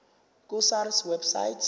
ku sars website